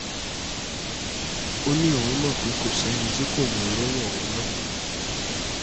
òní òun mọ̀ pé kò sẹ́ni tí kò ní í rówó ọ̀hún ná